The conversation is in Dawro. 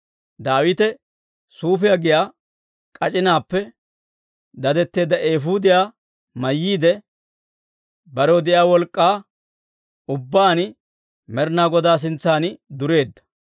Daawite suufiyaa giyaa k'ac'inaappe dadetteedda eefuudiyaa mayyiide, barew de'iyaa wolk'k'aa ubbaan Med'inaa Godaa sintsan dureedda.